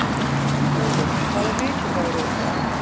Snjólfur, hvaða vikudagur er í dag?